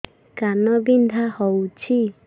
କାନ ବିନ୍ଧା ହଉଛି